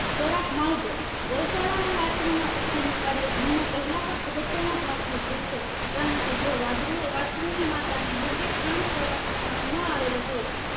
ખોરાક માવજત ગૌશાળામાં વસ્ત્રુ ના ઉછેર નું કાર્ય જન્મ પહેલા પણ અગત્યનો ભાગ ભજવે છે કારણ કે જો વાછરું વસ્ત્રુ ની માતા ને યોગ્ય ખાણ ખોરાક આપવામાં ન આવેલો હોય